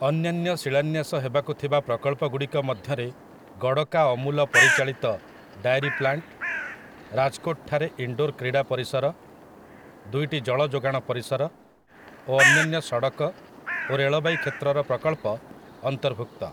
ଅନ୍ୟାନ୍ୟ ଶିଳାନ୍ୟାସ ହେବାକୁ ଥିବା ପ୍ରକଳ୍ପଗୁଡ଼ିକ ମଧ୍ୟରେ ଗଡ଼କା ଅମୁଲ ପରିଚାଳିତ ଡାଏରୀ ପ୍ଲାଣ୍ଟ, ରାଜକୋଟ ଠାରେ ଇନଡୋର କ୍ରୀଡ଼ା ପରିସର, ଦୁଇଟି ଜଳ ଯୋଗାଣ ପରିସର ଓ ଅନ୍ୟାନ୍ୟ ସଡ଼କ ଓ ରେଳବାଇ କ୍ଷେତ୍ରର ପ୍ରକଳ୍ପ ଅନ୍ତର୍ଭୁକ୍ତ ।